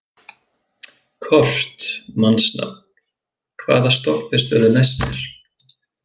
Kort (mannsnafn), hvaða stoppistöð er næst mér?